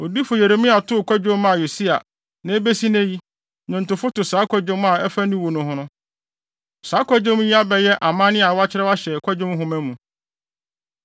Odiyifo Yeremia too kwadwom maa Yosia, na ebesi nnɛ yi, nnwontofo to saa kwadwom a ɛfa ne wu no ho no. Saa kwadwom yi abɛyɛ amanne a wɔakyerɛw ahyɛ Kwadwom Nhoma mu.